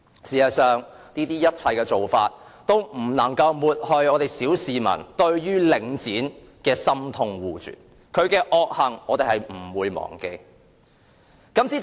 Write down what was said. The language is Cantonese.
事實上，這種種做法均不能抹去小市民對領展的深痛惡絕，我們不會忘記其惡行。